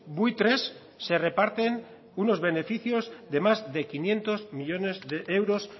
buitres se reparten unos beneficios de más de quinientos millónes de euros